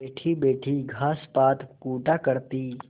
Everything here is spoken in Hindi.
बैठीबैठी घास पात कूटा करती